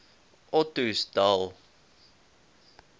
ottosdal